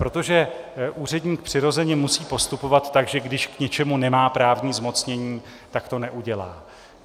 Protože úředník přirozeně musí postupovat tak, že když k něčemu nemá právní zmocnění, tak to neudělá.